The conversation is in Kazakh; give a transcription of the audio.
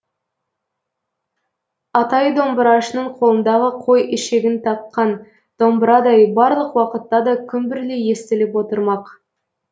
атайы домбырашының қолындағы қой ішегін таққан домбырадай барлық уақытта да күмбірлей естіліп отырмақ